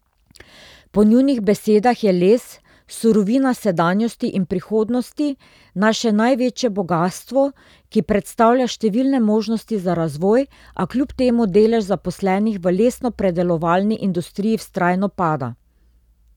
Po njunih besedah je les, surovina sedanjosti in prihodnosti, naše največje bogastvo, ki predstavlja številne možnosti za razvoj, a kljub temu delež zaposlenih v lesnopredelovalni industriji vztrajno pada.